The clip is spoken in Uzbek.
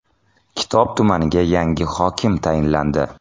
Kitob tumaniga yangi hokim tayinlandi.